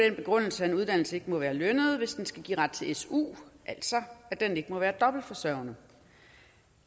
den begrundelse at en uddannelse ikke må være lønnet hvis den skal give ret til su altså at den ikke må være dobbeltforsørgende